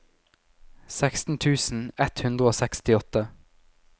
seksten tusen ett hundre og sekstiåtte